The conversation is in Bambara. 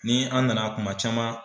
Ni an nana kuma caman